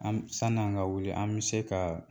An b san'an ka wuli an bɛ se kaa